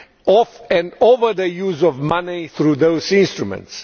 of and over the use of money through those instruments.